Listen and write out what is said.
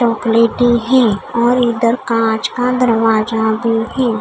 चॉकलेटी है और इधर कांच का दरवाजा भी है।